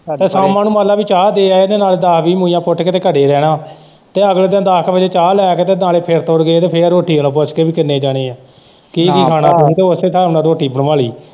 ਸ਼ਾਮਾਂ ਨੂੰ ਮੰਨ ਲੈ ਚਾਹ ਦੇ ਆਏ ਤੇ ਉਹਦੇ ਨਾਲ਼ ਦੱਸ-ਵੀਹ ਮੂਲੀਆਂ ਪੁੱਟ ਕੇ ਤੇ ਘਰੇ ਰਹਿਣਾ ਤੇ ਅਗਲੇ ਦਿਨ ਦੱਸ ਕ ਵਜੇ ਨਾਲ਼ ਚਾਹ ਲੈ ਕੇ ਤੇ ਨਾਲ਼ੇ ਫਿਰ-ਫੂਰ ਗਏ ਤੇ ਫੇਰ ਰੋਟੀ ਨੂੰ ਪੁੱਛ ਗਏ ਕਿ ਕਿੰਨੇ ਜਾਣੇ ਏ ਕੀ-ਕੀ ਖਾਣਾ? ਤੁਹੀਂ ਤੇ ਉਸੇ ਹਿਸਾਬ ਨਾਲ਼ ਰੋਟੀ ਬਣਵਾਂ ਲੀ।